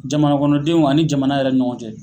Jamana kɔnɔdenw ani jamana yɛrɛ ni ɲɔgɔn cɛ